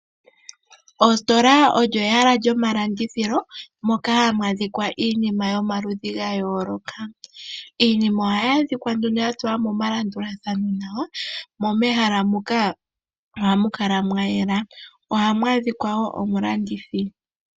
Ositola olyo ehala lyomalandithilo moka hamu adhikwa iinima yomaludhi ga yooloka . Iinima ohayi adhika ya tulwa nomalandulathano nawa, mo mehala moka ohamu kala mwa yela. Ohamu adhikwa wo omulandithi.